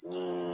Ni